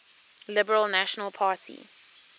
liberal national party